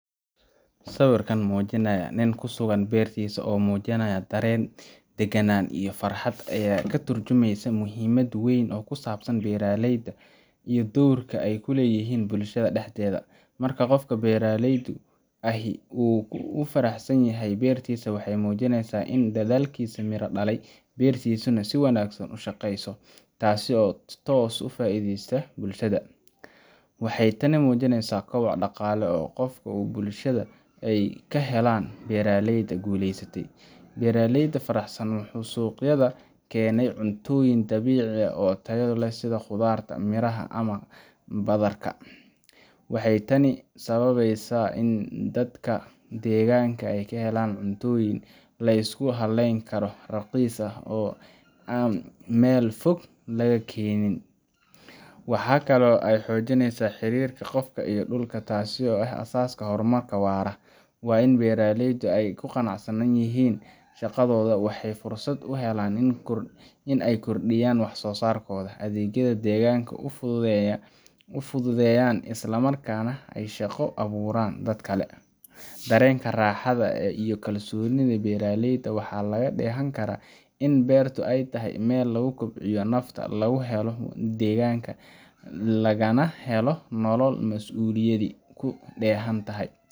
Sawirkaan mujinaaya niin kuu sugaan bertiisa oo mujinayaa daren ,deganaan iyo farxaad aya kaa turjumeysa muhimaad weyn oo kuu sabsaan beraleyda iyo dorkaa eyku leyihiin bulshadaa dexdeda. marka qofka beraleyda ahii uu u faraxsan yahay bertiisa waxey muujineysa iin dadalkiisa miira dhaalay bertisana sii wanagsan uu shaqeyso taasi oo toos ufaideyso bulshada. waxey taani mujineysa kobac dhaqaale oo qofka u bulshada kaa helan beraleyda guleysatay. beraleyda faraxsan wxu suqyaada kenay cuntoyin dabicii aah oo taayo leh sida qudarta, miraha ama badaarka. waxey taani sababeysa inii dadka deganka eyka helan cuntoyin laisku haleyn kara raaqis aah oo an mel foog laga kenin. waxa kaalo eey xojineysa xirika qof iyo dhuulka taasi oo aah asaskaa hormaarka waara waa iin beraleyda eyku qanacsan yihiin shaqadoda waxey fursaad u helaan iin eey kordiyan wax so sarkoda. adegyada deganka uu fududeyan islaa markanaa eey shaaqa aburaan dadkaa kale. dareenka raxaada ee iyo kalsonida beraleyda waxa lagaa dheehan kara in berta eey tahay mel laguu kobciyo nafta laguu heelo degankaa lagana heelo nolol masuuliyadi kuu dhehaan tahay.